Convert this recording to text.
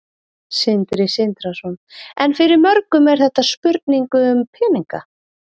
Sindri Sindrason: En fyrir mörgum er þetta spurning um peninga?